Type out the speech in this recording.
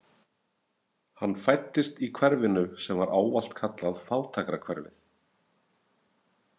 Hann fæddist í hverfinu sem var ávallt kallað fátækrahverfið.